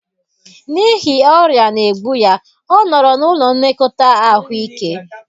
N'ihi ọrịa na-egbu ya, ọ nọrọ n'ụlọ nlekọta ahụike